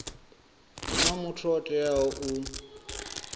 huna muthu o teaho u